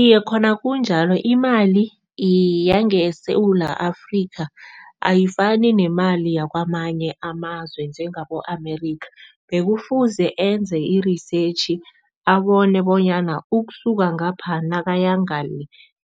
Iye, khona kunjalo. imali yangeSewula Afrika ayifani nemali yakwamanye amazwe njengabo-America. Bekufuze enze irisetjhi, abone bonyana ukusuka ngapha nakaya ngale,